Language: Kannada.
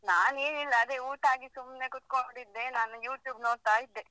ನಾನ್ ಏನಿಲ್ಲ ಅದೇ ಊಟ ಆಗಿ ಸುಮ್ನೆ ಕುತ್ಕೊಂಡಿದ್ದೆ ನಾನ್ YouTube ನೋಡ್ತಾ ಇದ್ದೆ.